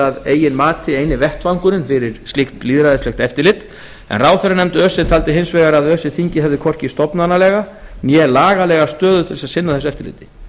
að eigin mati eini vettvangurinn fyrir slíkt lýðræðislegt eftirlit en ráðherranefnd öse taldi hins vegar að öse þingið hefði hvorki stofnanalega né lagalega stöðu til þess að sinna þessu eftirliti